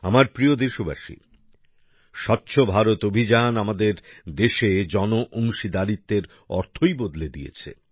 আমার প্রিয় দেশবাসী স্বচ্ছ ভারত অভিযান আমাদের দেশে জনঅংশীদারিত্বের অর্থই বদলে দিয়েছে